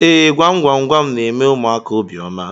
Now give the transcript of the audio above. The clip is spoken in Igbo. Ee, gwam gwam gwam na-eme ụmụaka obiọma